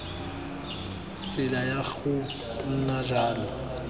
tsela ya go nna jalo